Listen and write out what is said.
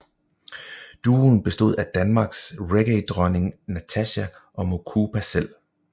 Duoen bestod af Danmarks reggaedronning Natasja og Mukupa selv